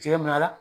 Cɛ ma la